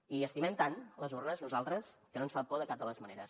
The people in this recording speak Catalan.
i estimem tant les urnes nosaltres que no ens fan por de cap de les maneres